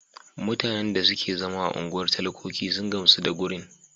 Mutanen da suke zama a unguwar talakoki sun gamsu da gurin.